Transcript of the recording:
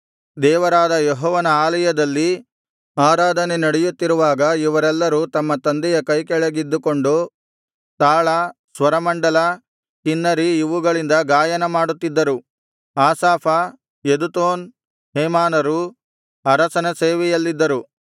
ದೇವರಾದ ಯೆಹೋವನ ಆಲಯದಲ್ಲಿ ಆರಾಧನೆ ನಡೆಯುತ್ತಿರುವಾಗ ಇವರೆಲ್ಲರೂ ತಮ್ಮ ತಂದೆಯ ಕೈಕೆಳಗಿದ್ದುಕೊಂಡು ತಾಳ ಸ್ವರಮಂಡಲ ಕಿನ್ನರಿ ಇವುಗಳಿಂದ ಗಾಯನ ಮಾಡುತ್ತಿದ್ದರು ಆಸಾಫ ಯೆದುತೂನ್ ಹೇಮಾನರು ಅರಸನ ಸೇವೆಯಲ್ಲಿದ್ದರು